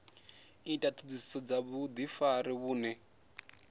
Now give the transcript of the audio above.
ita ṱhoḓisiso dza vhuḓifari vhune